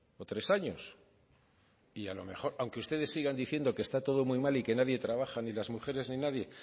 o tres años y a lo mejor aunque ustedes sigan diciendo que está todo muy mal y que nadie trabaja ni las mujeres ni nadie